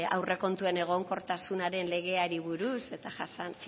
aurrekontuen egonkortasunaren legeari buruz eta